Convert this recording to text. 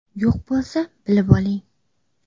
Yo‘q bo‘lsa, bilib oling.